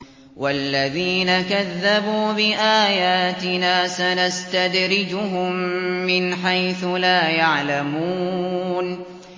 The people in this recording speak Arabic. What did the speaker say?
وَالَّذِينَ كَذَّبُوا بِآيَاتِنَا سَنَسْتَدْرِجُهُم مِّنْ حَيْثُ لَا يَعْلَمُونَ